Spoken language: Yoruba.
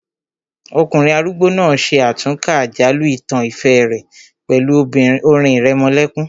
Ọkùnrin arúgbó náà ṣe àtúnkà àjálù ìtàn ìfẹ́ rẹ̀ pẹ̀lú orin ìrẹmọlẹ́kún